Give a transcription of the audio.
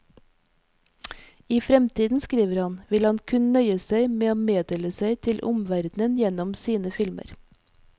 I fremtiden, skriver han, vil han kun nøye seg med å meddele seg til omverdenen gjennom sine filmer.